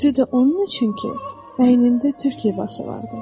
Özü də onun üçün ki, bəynində Türk libası vardı.